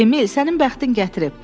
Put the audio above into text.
Emil, sənin bəxtin gətirib.